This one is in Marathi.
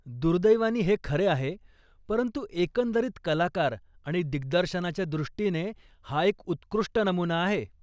दुर्दैवानी हे खरे आहे, परंतु एकंदरीत कलाकार आणि दिग्दर्शनाच्या दृष्टीने हा एक उत्कृष्ट नमुना आहे.